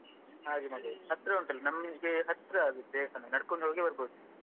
ಹಾಗೆ ಮಾಡುದು ಹತ್ರ ಉಂಟಲ್ಲ ನಮ್ಗೆ ಹತ್ರ ಆಗುತ್ತೆ ಅದು ದೇವಸ್ಥಾನ ನಡ್ಕೊಂಡು ಹೋಗಿ ಬರ್ಬೋದು.